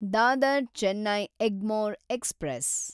Dadar Chennai Egmore express